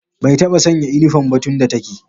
Bai taɓa sanya inifom ba tun da take